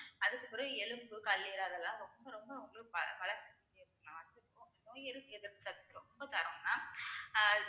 அதுக்குப் பிறகு எலும்பு, கல்லீரல் அதெல்லாம் ரொம்ப ரொம்ப உங்களுக்கு பல~ பல~ பலப்படுத்திட்டே நோய் எதிர்ப்பு சக்தி ரொம்ப தரும் mam அஹ்